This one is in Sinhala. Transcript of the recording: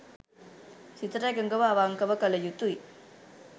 සිතට එකඟව අවංකව කළ යුතුයි